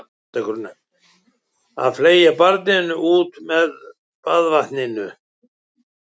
Að fleygja barninu út með baðvatninu